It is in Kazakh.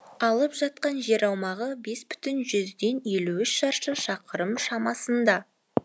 алып жатқан жер аумағы бес бүтін жүзден елу үш шаршы шақырым шамасында